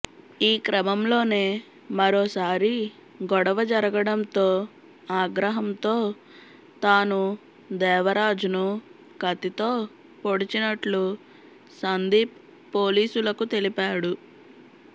ఈ క్రమంలోనే మరోసారి గొడవ జరగడంతో ఆగ్రహంతో తాను దేవరాజ్ను కత్తితో పొడిచినట్లు సందీప్ పోలీసులకు తెలిపాడు